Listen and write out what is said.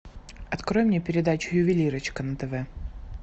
открой мне передачу ювелирочка на тв